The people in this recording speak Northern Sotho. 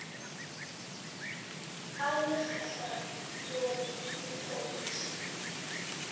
a le kgahlanong le dikgontšhi